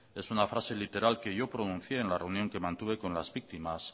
es esa frase literal que yo pronuncié en la reunión que mantuve con las víctimas